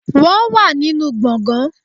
Wọ́n wà nínú gbọ̀ngàn